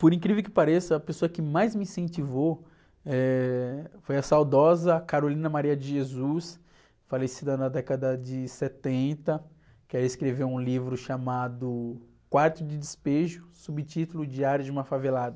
Por incrível que pareça, a pessoa que mais me incentivou foi a saudosa Carolina Maria de Jesus, falecida na década de setenta, que ela escreveu um livro chamado Quarto de Despejo, subtítulo O Diário de uma Favelada.